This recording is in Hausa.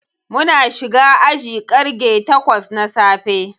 Muna shiga aji ƙarge takwas na safe.